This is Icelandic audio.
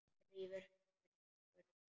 Rífur hendur hennar burt.